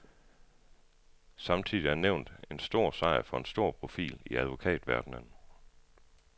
Samtidig er nævnet en stor sejr for en stor profil i advokatverdenen.